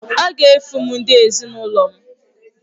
Ọ ga-efu m ndị ezinụlọ m.